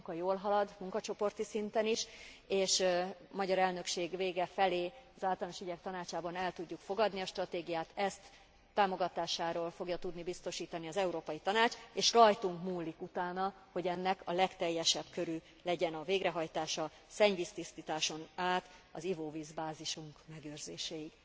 A munka jól halad, munkacsoporti szinten is, és a magyar elnökség vége felé az Általános Ügyek Tanácsában el tudjuk fogadni a stratégiát, ezt támogatásáról fogja tudni biztosítani az Európai Tanács, és rajtunk múlik utána, hogy ennek a legteljesebb körű legyen a végrehajtása szennyvíztisztításon át az ivóvíz bázisunk megőrzéséig.